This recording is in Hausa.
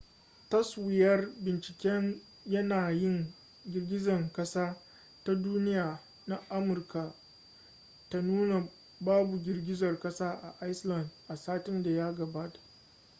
taswirar binciken yanayin girgizar kasa ta duniya na amurka ta nuna babu girgizar kasa a iceland a satin da ya gabata